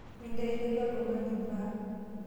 Minteleiki oltung'ani imbaa.